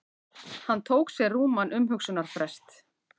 Hann tók sér rúman umhugsunarfrest.